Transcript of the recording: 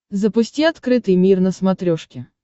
запусти открытый мир на смотрешке